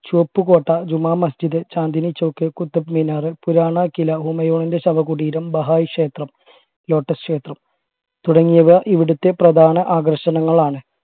ചുവപ്പ് കോട്ട ജുമാ മസ്ജിദ് ചാന്ദിനി ചോക്ക് കുത്തബ്മിനാർ പുരാണക്കിലാ ഹുമയൂണിന്റെ ശവകുടീരം വഹായ് ക്ഷേത്രം lotus ക്ഷേത്രം തുടങ്ങിയവ ഇവിടുത്തെ പ്രധാന ആകർഷണങ്ങളാണ്